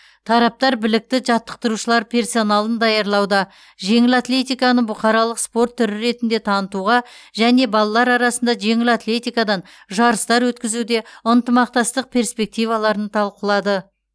тараптар білікті жаттықтырушылар персоналын даярлауда жеңіл атлетиканы бұқаралық спорт түрі ретінде танытуға және балалар арасында жеңіл атлетикадан жарыстар өткізуде ынтымақтастық перспективаларын талқылады